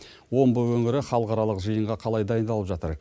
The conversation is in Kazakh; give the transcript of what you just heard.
омбы өңірі халықаралық жиынға қалай дайындалып жатыр